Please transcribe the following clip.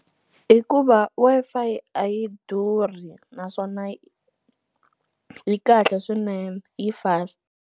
Hikuva Wi-Fi a yi durhi naswona yi kahle swinene yi fast.